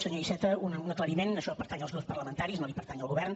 senyor iceta un aclariment això pertany als grups parlamentaris no pertany al govern